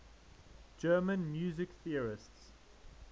german music theorists